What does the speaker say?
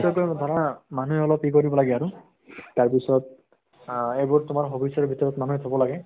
নিশ্চয়কৈ ধৰা মানুহে অলপ ই কৰিব লাগে আৰু তাৰ পিছত আহ এইবোৰ তোমাৰ hobbies ৰ ভিতৰত মানুহে থব লাগে